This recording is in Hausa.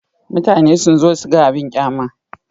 Mutane sun zo su ga abin ƙyama.